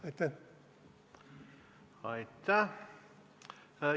Aitäh!